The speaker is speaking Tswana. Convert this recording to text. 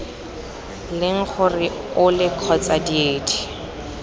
leng gore ole kgotsa diedi